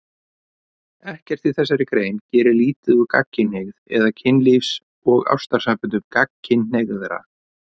Ekkert í þessari grein gerir lítið úr gagnkynhneigð eða kynlífs- og ástarsamböndum gagnkynhneigðra.